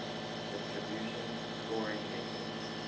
distribution scoring method